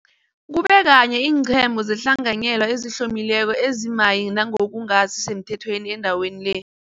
kube kanye iinqhema zehlanganyela ezihlomileko ezimayi nangokungasi semthethweni endaweni le.